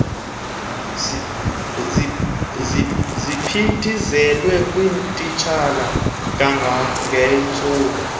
ziphindiselwe kutitshala kangangentsuku